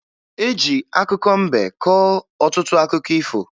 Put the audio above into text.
E ji akụkọ mbe kọọ ọtụtụ akụkọ ifo